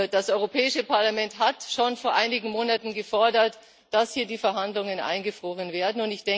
Das Europäische Parlament hat schon vor einigen Monaten gefordert, dass hier die Verhandlungen eingefroren werden.